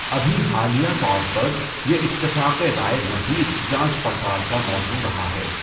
ابھی حالیہ طور پر، یہ اتفاق رائے مزید جانچ پڑتال کا موضوع رہا ہے۔